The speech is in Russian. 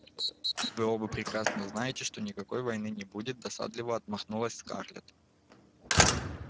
вы оба прекрасно знаете что никакой войны не будет досадливо отмахнулась скарлетт